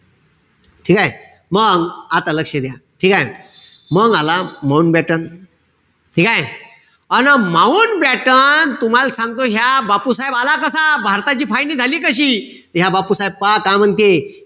ठीकेय? मंग आता लक्ष द्या. ठीकेय? मंग आला, माऊंटबॅटन, ठीकेय? अन माऊंटबॅटन, तुम्हाल सांगतो ह्या बापूसाहेब आला कसा. भारताची फायनी झाली कशी. ह्या बापूसाहेब पहा काय म्हणती.